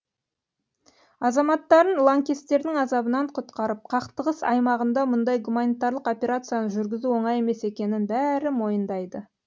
азаматтарын лаңкестердің азабынан құтқарып қақтығыс аймағында мұндай гуманитарлық операцияны жүргізу оңай емес екенін бәрі мойындайды